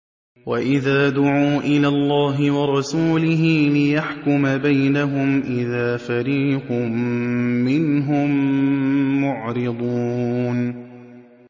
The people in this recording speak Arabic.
وَإِذَا دُعُوا إِلَى اللَّهِ وَرَسُولِهِ لِيَحْكُمَ بَيْنَهُمْ إِذَا فَرِيقٌ مِّنْهُم مُّعْرِضُونَ